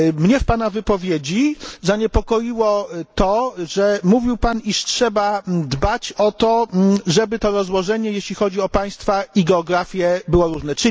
Mnie w Pana wypowiedzi zaniepokoiło to, że mówił Pan, iż trzeba dbać o to, żeby to rozłożenie, jeśli chodzi o państwa i geografię, było różne.